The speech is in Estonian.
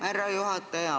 Aitäh, härra juhataja!